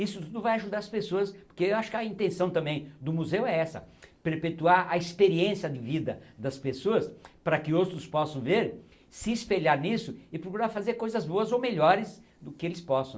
Isso vai ajudar as pessoas, poque eu acho que a intenção também do museu é essa, perpetuar a experiência de vida das pessoas para que outros possam ver, se espelhar nisso e procurar fazer coisas boas ou melhores do que eles possam.